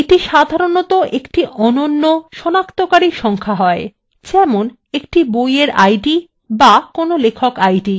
এটি সাধারনতঃ একটি অনন্য সনাক্তকারী সংখ্যা হয় যেমন একটি বইএর id অথবা কোনো লেখক আইডি